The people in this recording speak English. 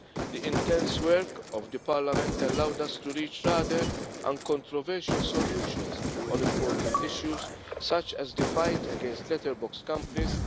The intense work of the Parliament has allowed us to reach rather uncontroversial solutions on important issues, such as the fight against letterbox companies